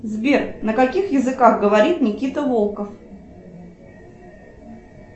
сбер на каких языках говорит никита волков